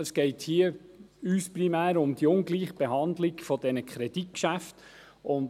Es geht uns hier primär um die Ungleichbehandlung der Kreditgeschäfte.